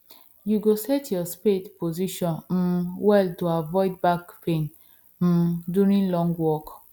you go set your spade position um well to avoid back pain um during long work